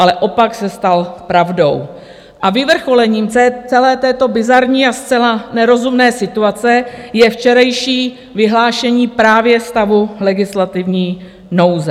Ale opak se stal pravdou a vyvrcholením celé této bizarní a zcela nerozumné situace je včerejší vyhlášení právě stavu legislativní nouze.